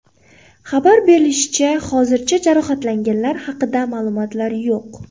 Xabar berilishicha, hozircha jarohatlanganlar haqida ma’lumotlar yo‘q.